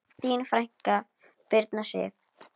Þín frænka, Birna Sif.